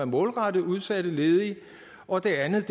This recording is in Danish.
målrettet udsatte ledige og det andet